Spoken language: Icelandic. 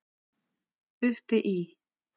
Uppi í